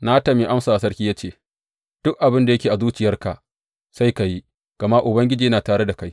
Natan ya amsa wa sarki ya ce, Duk abin da yake a zuciyarka, sai ka yi, gama Ubangiji yana tare da kai.